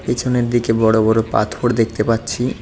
পেছনের দিকে বড়ো বড়ো পাথর দেখতে পাচ্ছি।